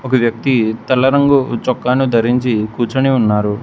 ఒక వ్యక్తి తెల్ల రంగు చొక్కాను ధరించి కూర్చొని ఉన్నారు.